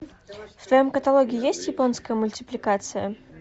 в твоем каталоге есть японская мультипликация